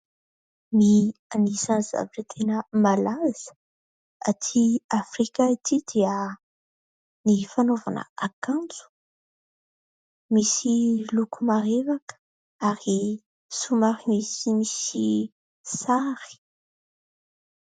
Ny anisan'ny zavatra tena malaza atỳ Afrika ity; dia ny fanaovana akanjo misy loko marevaka ary somary misy sary.